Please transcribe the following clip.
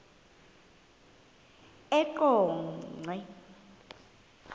eqonco